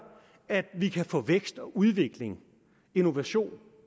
at vi kan få vækst og udvikling innovation